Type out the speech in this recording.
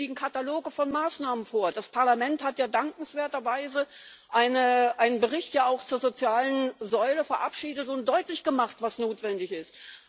Es liegen Kataloge von Maßnahmen vor. Das Parlament hat ja dankenswerterweise einen Bericht auch zur sozialen Säule verabschiedet und deutlich gemacht, was notwendig ist.